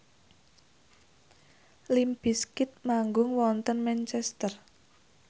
limp bizkit manggung wonten Manchester